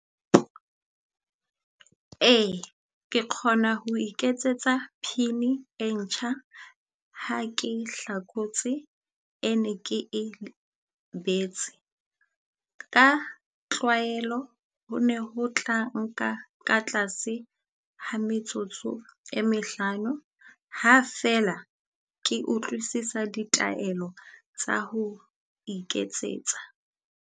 Ee ke kgona ho iketsetsa Pin-i e ntjha, ha ke hlakotse e ne ke e lebetse. Ka tlwaelo ho ne ho tla nka ka tlase ha metsotso e mehlano. Ha feela ke utlwisisa ditaelo tsa ho iketsetsa.